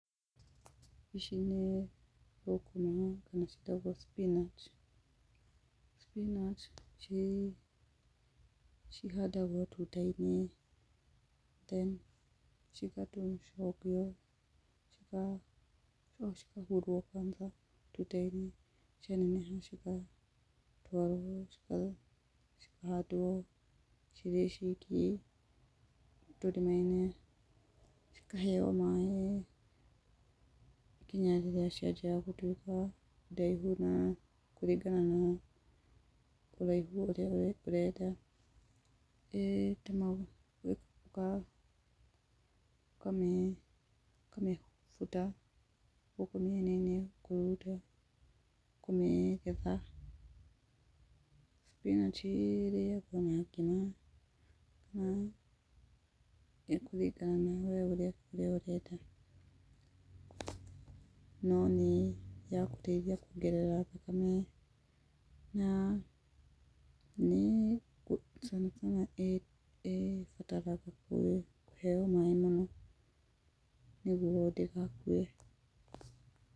Ici nĩ thũkũma, na ciĩtagwo spinach. spinach ciĩ, cihandagwo tuta-inĩ, cigatuo cigacokio, cikahurwo kwanza tuta-inĩ, cianeneha cigatwarwo cikahandwo cirĩ ciki, tũrima-inĩ, cikaheyo maaĩ nginya rĩrĩa cianjia gũtuĩka ndaihu na kũringana na ũraihu ũrĩa ũrenda, gwĩka, ũkamĩbuta gũkũ mĩena-inĩ ũkamĩruta kũmĩgetha. spinach ĩrĩagwo na ngima na ekũringana na ũrĩa we ũrenda. No nĩ yagũteithia kuongerera thakame na nĩ ĩhotaga kũheyo maaĩ mau nĩgetha ndĩgakue.